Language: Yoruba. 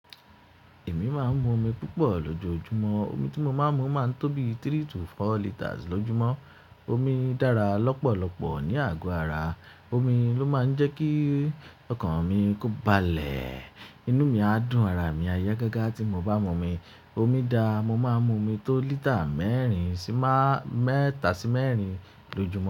Èmi máa ń mu omi púpọ̀ lójoojúmọ́. Omi tí mo máa ń mu máa ń tóbi three to four litres lójúmọ́. Omi dára lọ́pọ̀lọpọ̀ ní àgọ́ ara. Omi ló máa ń jẹ́ kí ọkàn mi kó ba lẹ̀. Inú mi á dùn, ara mi á yá gágá tí mo bá mu omi. Omi da, mo máa ń mu omi tó lítà mẹ́rin sí má-mẹ́tà sí mẹ́rin lójúmọ́